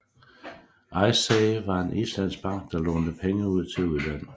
Icesave var en islandsk bank der lånte pege ud til udlandet